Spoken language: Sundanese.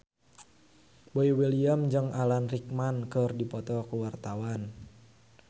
Boy William jeung Alan Rickman keur dipoto ku wartawan